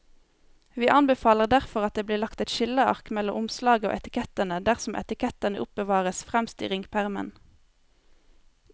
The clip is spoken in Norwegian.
Vi anbefaler derfor at det blir lagt et skilleark mellom omslaget og etikettene dersom etikettene oppbevares fremst i ringpermen.